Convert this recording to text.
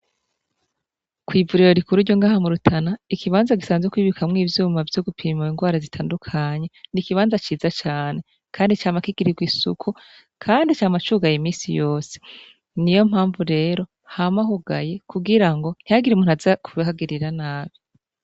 Kw'ivuriro rikuru ryo ngaha mu Rutana ikibanza gisanzwe kibikwamwo ivyuma vyo gupima ingwara zitandukanye ni kibanza ciza cane kandi cama kigirirwa isuku kandi cama cugaye iminsi yose niyo mpamvu rero hama hugaye kugirango ntihagire umuntu aza kuhagirira nabi